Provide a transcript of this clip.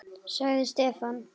sagði Stefán.